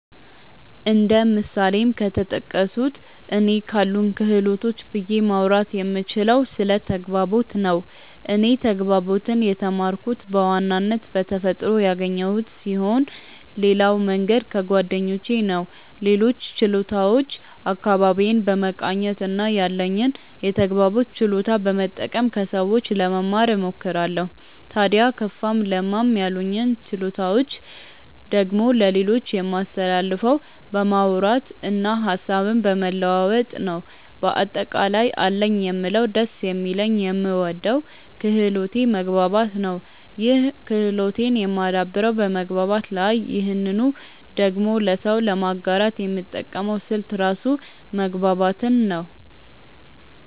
እንደ ምሳሌም ከተጠቀሱት እኔ ካሉኝ ክህሎቶች ብዬ ማውራት የምችለው ስለ ተግባቦት ነው። እኔ ተግባቦትን የተማርኩት በዋናነት በተፈጥሮ ያገኘሁት ስሆን ሌላው መንገድ ከጓደኞቼ ነው። ሌሎችን ችሎታዎች አካባቢዬን በመቃኘት እና ያለኝን የተግባቦት ችሎታ በመጠቀም ከሰዎች ለመማ እሞክራለው። ታድያ ከፋም ለማም ያሉኝን ችሎታዎች ደግሞ ለሌሎች የማስተላልፈው በማውራት እና ሀሳብን በመለዋወጥ ነው። በአጠቃላይ አለኝ የምለው ደስ የሚለኝ የምወደው ክህሎቴ መግባባት ነው ይህን ክህሎቴን የማደብረው በመግባባት ነው ይህንኑ ደግሞ ለሰው ለማጋራት የምጠቀመው ስልት ራሱ መግባባትን ነው።